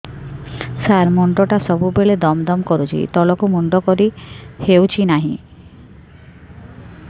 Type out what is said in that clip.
ସାର ମୁଣ୍ଡ ଟା ସବୁ ବେଳେ ଦମ ଦମ କରୁଛି ତଳକୁ ମୁଣ୍ଡ କରି ହେଉଛି ନାହିଁ